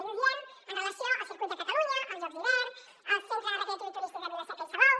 i ho diem amb relació al circuit de catalunya els jocs d’hivern el centre recreatiu i turístic de vila seca i salou